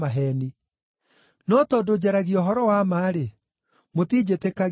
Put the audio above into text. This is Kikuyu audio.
No tondũ njaragia ũhoro wa ma-rĩ, mũtinjĩtĩkagia.